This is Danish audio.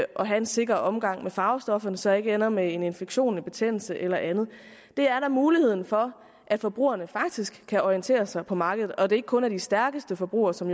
at have en sikker omgang med farvestofferne så jeg ikke ender med en infektion en betændelse eller andet det er da muligheden for at forbrugerne faktisk kan orientere sig på markedet og at det ikke kun er de stærkeste forbrugere som